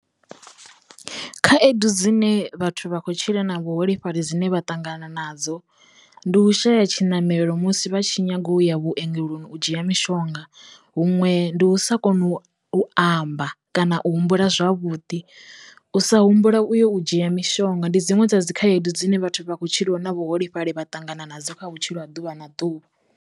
Khaedu dzine vhathu vha kho tshila na vhuholefhali dzine vha ṱangana nadzo ndi u shaya tshiṋamelo musi vha tshi nyago ya vhuongeloni u dzhia mishonga huṅwe ndi u sa kona u u amba kana u humbula zwavhuḓi, u sa humbula u yo u dzhia mishonga ndi dziṅwe dza dzi khaedu dzine vhathu vha khou tshilaho na vhuholefhali vha kho ṱangana nadzo kha vhutshilo ha ḓuvha na ḓuvha.